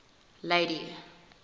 lady